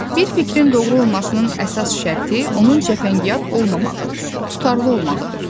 Bir fikrin doğru olmasının əsas şərti onun cəfəngiyat olmamağı, tutarlı olmağıdır.